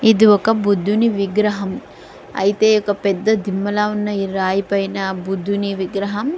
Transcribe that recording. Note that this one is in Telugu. ఇది ఒక బుద్ధుని విగ్రహం . అయితే ఒక పెద్ద దిమ్మలా ఉన్న ఈ రాయి పైన బుద్ధిని విగ్రహం--